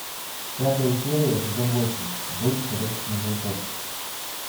пятая серия сезон восемь бойтесь ходячих мертвецов